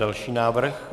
Další návrh.